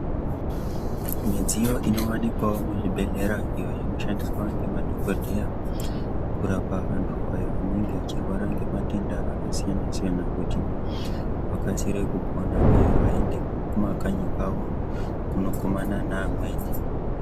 Midziyo inowanikwawo muzvibhedhlera iyo inoshandiswa nemadhokodheya kurapa vantu vanenge vachirwara ngematenda akasiyana siyana kuti vakasire kupona uye vaende kumakanyi kwavo kunokumana nevamweni.